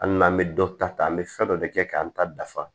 Hali n'an bɛ dɔ ta an bɛ fɛn dɔ de kɛ k'an ta dafa